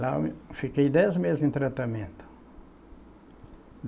Lá eu me, fiquei dez meses em tratamento.